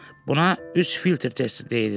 Buna üç filtr testi deyilir.